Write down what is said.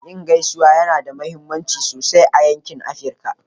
Yin gaisuwa yana da mahimmanci sosai a yankin Afirka.